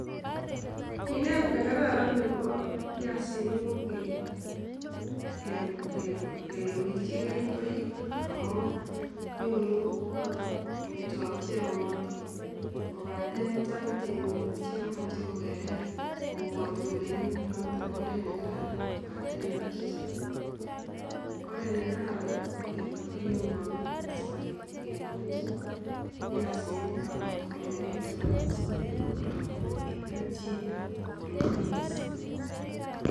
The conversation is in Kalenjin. Minet ne kararan nebo piasinik ko kewirchi keringoik amun nyoru notok amitwokik che yomotin kobaten chany tyemik chemache kokerer kobwatei kolen notok ko oret ne kararan kobaten achicha, oret ne kararan ko kebal keringonik asikobit kegolji piasinik ako matkoloigitu kora sikobit konyor keljin koruryo mising